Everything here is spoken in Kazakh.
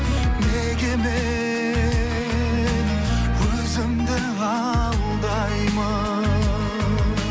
неге мен өзімді алдаймын